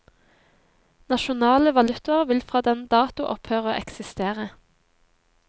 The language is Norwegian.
Nasjonale valutaer vil fra den dato opphøre å eksistere.